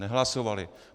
Nehlasovali.